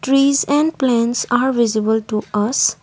trees and plants are visible to us.